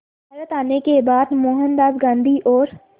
भारत आने के बाद मोहनदास गांधी और